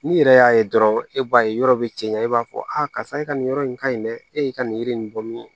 N'i yɛrɛ y'a ye dɔrɔn e b'a ye yɔrɔ bi cɛya i b'a fɔ a karisa e ka nin yɔrɔ in ka ɲi dɛ e y'i ka nin yiri in nin bɔ min